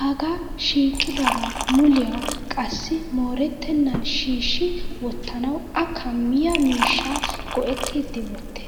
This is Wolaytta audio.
Haga shiiqidaba muliua qassi moorettenan shiishi wottanawu a kammiya miishshaa go'ettidi wottes.